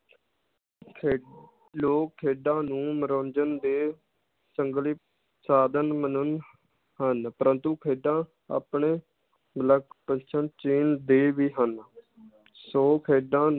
ਖੇ~ ਲੋਕ ਖੇਡਾਂ ਨੂੰ ਮਨੋਰੰਜਨ ਦੇ ਸੰਗਲੀ, ਸਾਧਨ ਮਨਨ ਹਨ ਪ੍ਰੰਤੂ ਖੇਡਾਂ ਆਪਣੇ ਦੇ ਵੀ ਹਨ ਸੋ ਖੇਡਾਂ